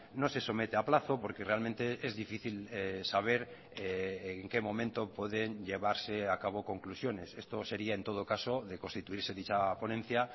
no se somete a plazo porque realmente es difícil saber en qué momento pueden llevarse a cabo conclusiones esto sería en todo caso de constituirse dicha ponencia